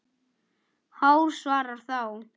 Hár svarar þá